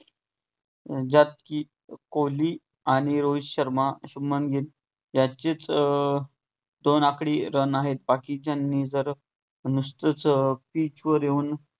ज्यात कि कोहली आणि रोहित शर्मा याचेच अं दोन आकडी run आहेत. बाकीच्यांनी जर नुसतेच अं pitch वर येउन